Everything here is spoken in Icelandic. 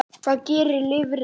Hvað gerir lifrin?